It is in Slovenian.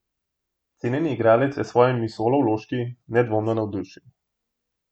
Cenjeni igralec je s svojimi solovložki nedvomno navdušil.